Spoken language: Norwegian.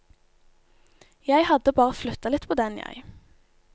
Jeg hadde bare flytta litt på den, jeg.